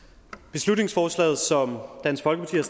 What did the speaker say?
beslutningsforslaget som dansk folkeparti har